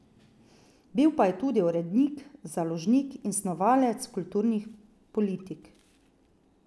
Bil pa je tudi urednik, založnik in snovalec kulturnih politik.